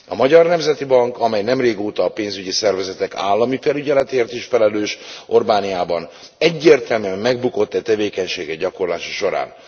A Magyar Nemzeti Bank, amely nem régóta a pénzügyi szervezetek állami felügyeletéért is felelős Orbániában, egyértelműen megbukott e tevékenysége gyakorlása során.